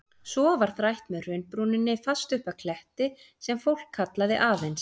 Svo var þrætt með hraunbrúninni fast upp að kletti, sem fólk kallaði aðeins